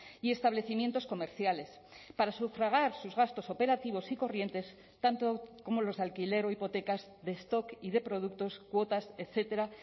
y establecimientos comerciales para sufragar sus gastos operativos y corrientes tanto como los de alquiler o hipotecas de stock y de productos cuotas etcétera